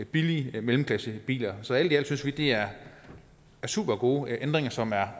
billigere mellemklassebiler så alt i alt synes vi det er supergode ændringer som er